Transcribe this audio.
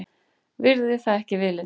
Virði það ekki viðlits.